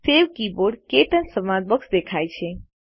save keyboard - ક્ટચ સંવાદ box દેખાય છે